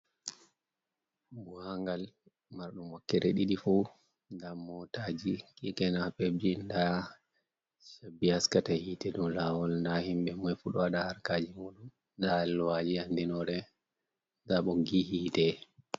Buhangal mardum wokkere didi fu gam motaji, kekenapebji da cabbi haskata hite dow lawol da himbe komoi fu ɗo waɗa harkaji muɗum da aluwaji andinore da ɓoggi hite.